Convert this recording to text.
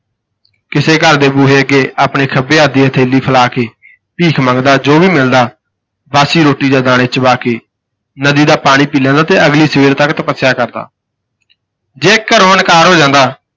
ਕਿਸੇੇ ਘਰ ਦੇ ਬੂਹੇ ਅੱਗੇ ਆਪਣੇ ਖੱਬੇ ਹੱਥ ਦੀ ਹਥੇਲੀ ਫੈਲਾ ਕੇ ਭੀਖ ਮੰਗਦਾ ਜੋ ਵੀ ਮਿਲਦਾ ਬਾਸੀ ਰੋਟੀ ਜਾਂ ਦਾਣੇ ਚਬਾ ਕੇ ਨਦੀ ਦਾ ਪਾਣੀ ਪੀ ਲੈਂਦਾ ਤੇ ਅਗਲੀ ਸਵੇਰ ਤੱਕ ਤਪੱਸਿਆ ਕਰਦਾ ਜੇ ਘਰੋਂ ਇਨਕਾਰ ਹੋ ਜਾਂਦਾ।